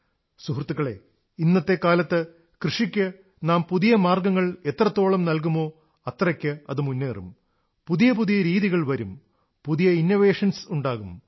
സുഹൃത്തുക്കളേ ഇന്നത്തെ കാലത്ത് കൃഷിക്ക് നാം പുതിയ മാർഗ്ഗങ്ങൾ എത്രത്തോളം നല്കുമോ അത്രയ്ക്ക് അത് മുന്നേറും പുതിയ പുതിയ രീതികൾ വരും പുതിയ നൂതനാശയങ്ങൾ ഉണ്ടാകും